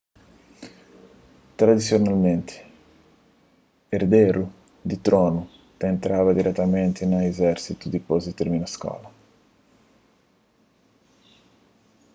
tradisionalmenti erderu di tronu ta entraba diretamenti na izérsitu dipôs di tirmina skola